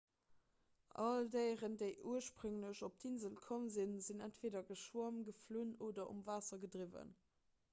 all déieren déi ursprénglech op d'insel komm sinn sinn entweeder geschwomm geflunn oder um waasser gedriwwen